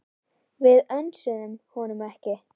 Við önsuðum honum ekki.